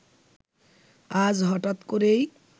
আজ হঠাৎ করেই